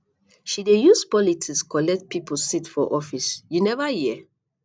she dey use politics collect pipo seat for office you neva hear